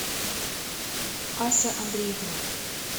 ася андреевна